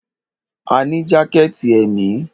A ní jákẹ̀tì èmi.